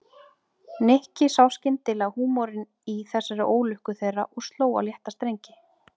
Nikki sá skyndilega húmorinn í þessari ólukku þeirra og sló á léttari strengi.